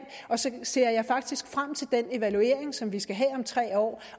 og så ser jeg faktisk frem til den evaluering som vi skal have om tre år